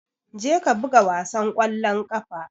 Je ka buga wasan kwallon kafa!